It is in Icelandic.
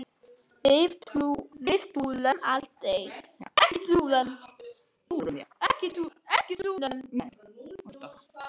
Við túrum aldrei!